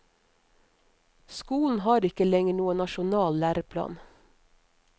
Skolen har ikke lenger noen nasjonal læreplan.